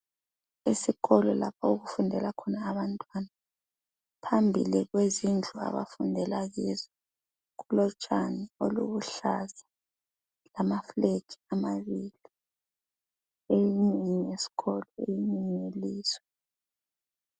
Esikolo lapho okufundela khona abantwana . Phambili kwezindlu abafundela kizo kulotshani obuluhlaza lamaflag amabili , eyinye ngeyesikolo eyinye ngeye lizwe.